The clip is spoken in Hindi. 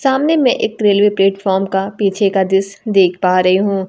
सामने में एक रेलवे प्लेटफार्म का पीछे का दृश्य देख पा रहे हूं।